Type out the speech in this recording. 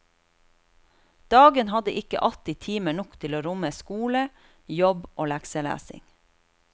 Dagen hadde ikke alltid timer nok til å romme skole, jobb og lekselesning.